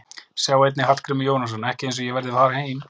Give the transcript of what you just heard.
Sjá einnig: Hallgrímur Jónasson: Ekki eins og ég verði að fara heim